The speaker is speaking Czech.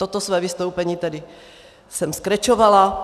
Toto své vystoupení jsem tedy skrečovala.